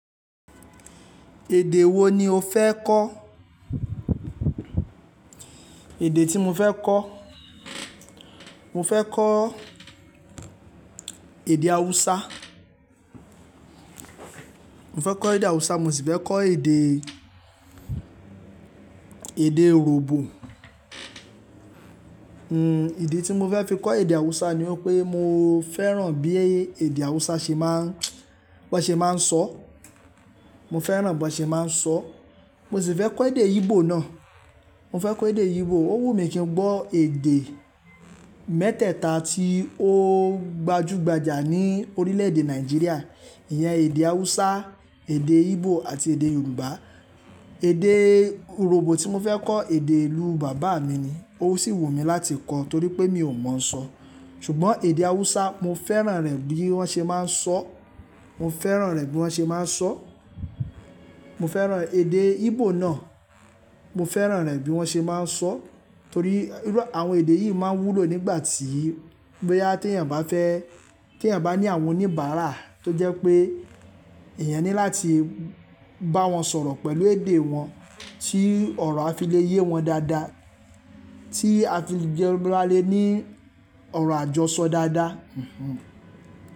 Èdè wo ni o fẹ́ kọ́? Èdè tí mo fẹ́ kọ́. Mo fẹ́ kọ́ èdè Haúsá. Mo fẹ́ kọ́ èdè Hausa, mo sì fẹ́ kọ́ èdè, èdè Urhobo. Hmm ìdí tí mo fẹ́ fi kọ́ èdè Hausa ni wí pé mo fẹ́ràn bí èdè Haúsá ṣe máa ń, bí wọ́n ṣe máa ń sọ́. Mo fẹ́ràn bí wọ́n ṣe máa ń sọ. Mo sì fẹ́ kọ́ èdè Igbo náà. Mo fẹ́ kọ́ èdè Igbo. Ó wù mí kí n gbọ́ èdè mẹ́tẹ̀ẹ̀ta tí ó gbajúgbajà ní orílẹ̀-èdè Nàìjíríà, ìyẹn èdè Hausa, èdè Igbo àti èdè Yorùbá. Èdè Urhobo tí mo fẹ́ kọ́ èdè ìlú bàbá mi ni. Ó sì wù mí láti kọ́ torí pé mi ò mọ̀ ọ́n sọ. Ṣùgbọ́n èdè Hausa, mo fẹ́ràn rẹ̀ bí wọ́n ṣe máa ń sọ. Mo fẹ́ràn rẹ̀ bí wọ́n ṣe máa ń sọ. Mo fẹ́ràn èdè Igbo náà. Mo fẹ́ràn rẹ̀ bí wọ́n ṣe máa ń sọ. Torí àwọn èdè yìí máa wúlò nígbà tí, boyaí tí èeyàn bá fẹ́, tí èeyàn bá ní àwọn oníbàárà tó jẹ́ pé èèyàn ní láti bá wọn sọ̀rọ̀ pẹ̀lú èdè wọn tí ọ̀rọ̀ á fi le yé wọn dáadáa, tí a fi jọ́ gbọ alé ní ọ̀rọ̀ àjọṣọ dáadáa.